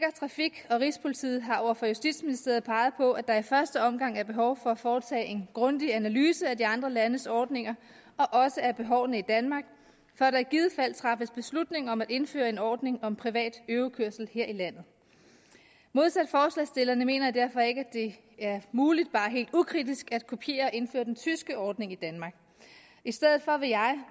trafik og rigspolitiet har over for justitsministeriet peget på at der i første omgang er behov for at foretage en grundig analyse af de andre landes ordninger og også af behovene i danmark før der i givet fald træffes beslutning om at indføre en ordning om privat øvekørsel her i landet modsat forslagsstillerne mener jeg derfor ikke at det er muligt bare helt ukritisk at kopiere og indføre den tyske ordning i danmark i stedet for vil jeg